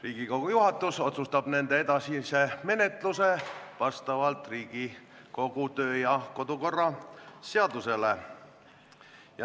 Riigikogu juhatus otsustab nende edasise menetlemise vastavalt Riigikogu kodu- ja töökorra seadusele.